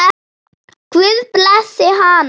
Guð blessi hana.